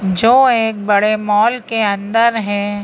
जो एक बड़े मॉल के अंदर है।